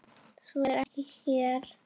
Svo er ekki hér.